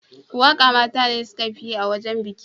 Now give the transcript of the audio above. Waka mata ne suka fi yi a wajen biki.